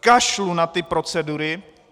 Kašlu na ty procedury.